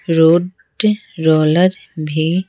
Road roller भी।